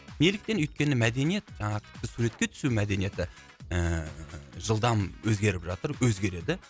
неліктен өйткені мәдениет жаңағы біз суретке түсу мәдениеті ііі жылдам өзгеріп жатыр өзгереді